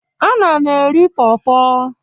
Ana m eri pọrpọr.